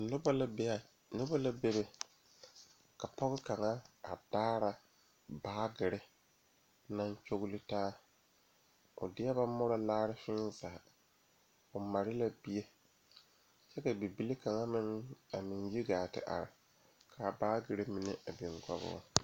Noba la bebe pɔgeba ane bibiiri la ka bondire a kabɔɔti poɔ ka talaare be a be poɔ kaa kodo vaare meŋ be a be kaa bie kaŋa a iri gaŋe kaa baagre mine a biŋ kɔŋ o.